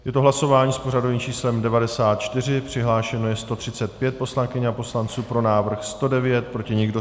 Je to hlasování s pořadovým číslem 94, přihlášeno je 135 poslankyň a poslanců, pro návrh 109, proti nikdo.